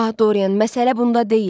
Ah, Dorian, məsələ bunda deyil.